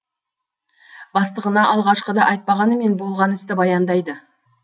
бастығына алғашқыда айтпағанымен болған істі баяндайды